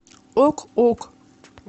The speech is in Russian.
ок ок